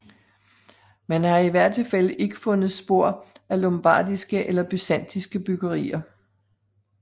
Man har i hvert tilfælde ikke fundet spor af lombardiske eller byzantinske byggerier